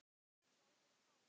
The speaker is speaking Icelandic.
Í alvöru talað?